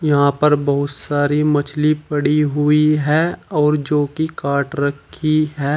यहां पर बहुत सारी मछली पड़ी हुई है और जो की काट रखी है।